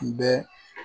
Tun bɛ